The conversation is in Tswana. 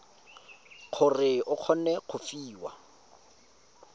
gore o kgone go fiwa